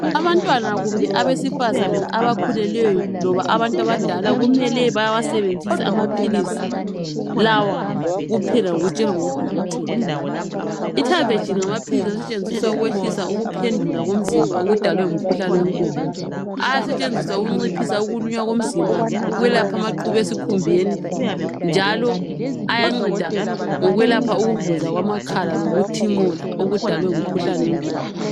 Abantwana kumbe abesifazana abakhululweyo loba abantu abadala kumele bewasebenzise amaphilisi lawa kuphela ngokutshelwa ngudokotela itavegil ngamaphilisi asetshenziswa ukwehlisa ukuphendula komzimba okudalwe ngumkhuhlane wenkomo ayasetshenziswa ukunciphisa ukuluma komzimba ukwelapha amaqubu esikhumbeni njalo ayanceda ngokwelapha ukuvuza kwamakhala lokuthimula okudalwe ngumkhuhlane wenkomo